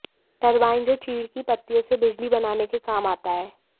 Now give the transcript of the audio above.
turbine जो चीड़ की पत्तियों से बिजली बनाने के काम आता है